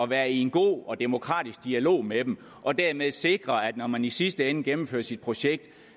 være i en god og demokratisk dialog med dem og dermed sikre at når man i sidste ende gennemfører sit projekt